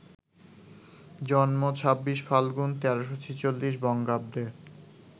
জন্ম ২৬ ফাল্গুন, ১৩৪৬ বঙ্গাব্দে